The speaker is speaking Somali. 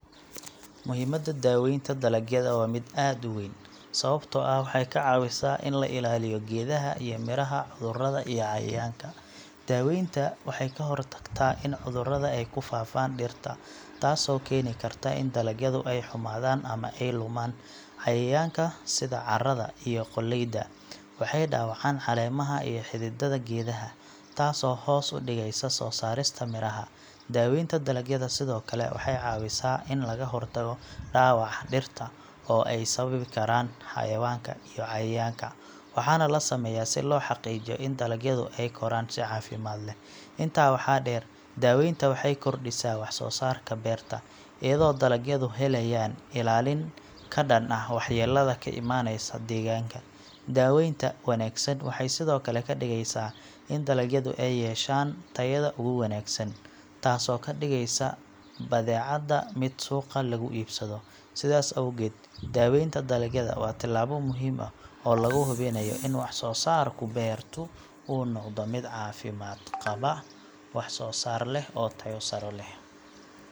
Muhiimadda daaweynta dalagyada waa mid aad u weyn, sababtoo ah waxay ka caawisaa in la ilaaliyo geedaha iyo miraha cudurrada iyo cayayaanka. Daaweynta waxay ka hortagtaa in cudurrada ay ku faafaan dhirta, taasoo keeni karta in dalagyadu ay xumaadaan ama ay lumaan. Cayayaanka, sida caarada iyo qoolleyda, waxay dhaawacaan caleemaha iyo xididada geedaha, taasoo hoos u dhigaysa soo saarista miraha. Daaweynta dalagyada sidoo kale waxay caawisaa in laga hortago dhaawaca dhirta ee ay sababi karaan xayawaanka iyo cayayaanka, waxaana la sameeyaa si loo xaqiijiyo in dalagyadu ay koraan si caafimaad leh. Intaa waxaa dheer, daaweynta waxay kordhisaa wax soo saarka beerta, iyadoo dalagyadu helayaan ilaalin ka dhan ah waxyeellada ka imaanaysa deegaanka. Daaweynta wanaagsan waxay sidoo kale ka dhigeysaa in dalagyadu ay yeeshaan tayada ugu wanaagsan, taasoo ka dhigaysa badeecada mid suuqa laga iibsado. Sidaas awgeed, daaweynta dalagyada waa tallaabo muhiim ah oo lagu hubinayo in wax soo saarka beertu uu noqdo mid caafimaad qaba, wax soo saar leh, oo tayo sare leh.